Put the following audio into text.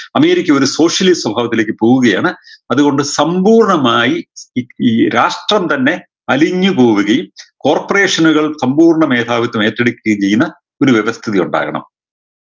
America ഒരു socialism സ്വഭാവത്തിലേക്ക് പോവുകയാണ് അത് കൊണ്ട് സമ്പൂർണമായി ഈ ഈ രാഷ്ട്രം തന്നെ അലിഞ്ഞ് പോവുകയും corporation കൾ സമ്പൂർണ മേധാവിത്വം ഏറ്റെടുക്കുകയും ചെയ്യുന്ന ഒരു വ്യവസ്ഥിതി ഉണ്ടാകണം